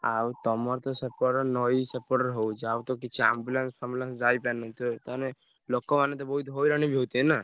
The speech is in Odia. ଆଉ ତମରତ ସେପଟ ନଈ ସେପଟରେ ହଉଛି ଆଉ ତ କିଛି ambulance ଫାମ୍ବୁଲାନ୍ସ ଯାଇପାରୁନଥିବ ତାହେଲେ ଲୋକମାନେ ତ ବହୁତ୍ ହଇରାଣ ବି ହଉଥିବେ ନା?